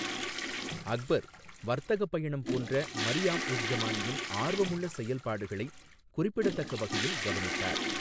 அக்பர், வர்த்தக பயணம் போன்ற மரியாம் உஸ் ஜமானியின் ஆர்வமுள்ள செயல்பாடுகளை குறிப்பிடத்தக்க வகையில் கவனித்தார்.